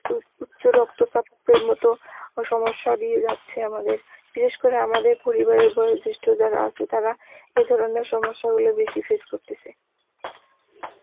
উ উচ্চ রক্ত চাপের মত সমস্যা দিয়ে যাচ্ছে আমাদের, বিশেষ করে আমাদের পরিবারের বয়োজ্যেষ্ঠ যারা আছে তারা এ ধরনের সমস্যাগুলো বেশি face করতেসে